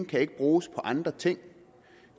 kan ikke bruges på andre ting